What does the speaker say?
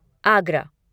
Agra